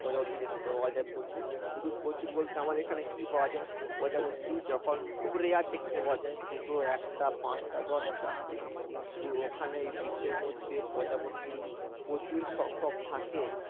প্রজাপতি দেখতে পাওয়া যায় প্রচুর শুধু প্রচুর বলতে আমার এখানে কি পাওয়া যায় প্রজাপতি যখন খুব rare দেখতে পাওয়া যায় দুটো একটা পাঁচটা দশটা কিন্তু ওখানে ওই beach র মধ্যে প্রজাপতি প্রচুর সংখ্যক থাকে